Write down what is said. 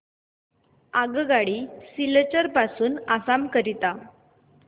आगगाडी सिलचर पासून आसाम करीता